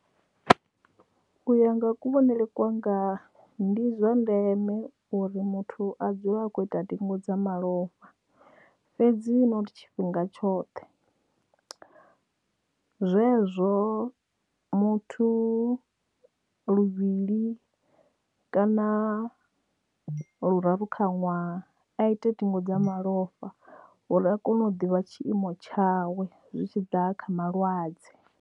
U ya nga kuvhonele kwanga ndi zwa ndeme uri muthu a dzule a kho ita ndingo dza malofha fhedzi not tshifhinga tshoṱhe zwezwo muthu luvhili kana luraru kha ṅwaha a ite ndingo dza malofha uri a kone u ḓivha tshiimo tshawe zwi tshi ḓa kha malwadze.